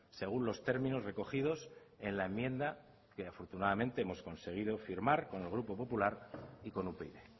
según los términos recogidos en la enmienda que afortunadamente hemos conseguido firmar con el grupo popular y con upyd